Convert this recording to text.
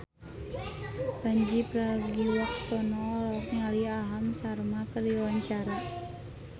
Pandji Pragiwaksono olohok ningali Aham Sharma keur diwawancara